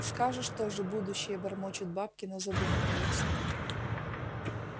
скажешь тоже будущее бормочут бабки но задумываются